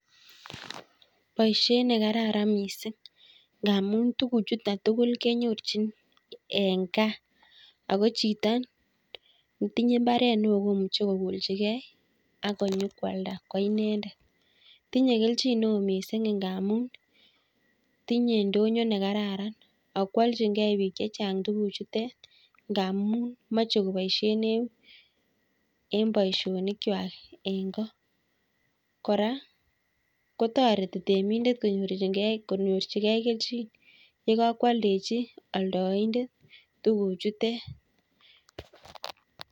Boisiet nekararan miising' ngaamun tuguchutok tugul kenyorchin eng' gaa ako chito netinye mbaret neoo komuche kokoolchigei akonyo kwalda koinendet. tinye kelchin neoo miising' ngaamun tinye ndonyo nekararan akwalchingei biik chechang' tuguchutek ngaamun meche koboisie en boisionikchwai eng' ko. kora kotoreti temindet konyorchigei kelchin yekakwaldechi alndaindet tuguchutek